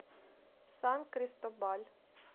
сан кристобаль